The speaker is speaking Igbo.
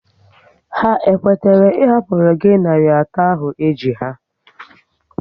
Ha kwetara ị hapụru gị narị atọ ahụ e ji ha?